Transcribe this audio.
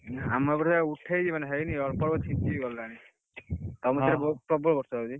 ଆମର ଏପଟରେ ଉଠେଇଛି ମାନେ ହେଇନି ଅଳ୍ପ ଅଳ୍ପ ଛିଞ୍ଚି କି ଗଲାଣି, ତମ ସେପଟରେ ପ୍ରବଳ ବର୍ଷା ହଉଛି।